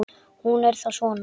Hún er þá svona!